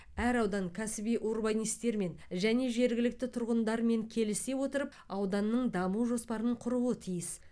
әр аудан кәсіби урбанистермен және жергілікті тұрғындармен келісе отырып ауданның даму жоспарын құруы тиіс